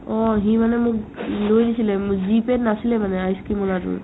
অ, সি মানে মোক লৈ আহিছিলে উম G pay ত নাছিলে মানে ice-cream ৰ ল'ৰাটোৰ